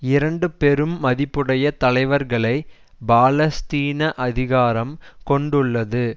இரண்டு பெரும் மதிப்புடைய தலைவர்களை பாலஸ்தீன அதிகாரம் கொண்டுள்ளது